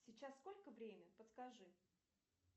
сейчас сколько время подскажи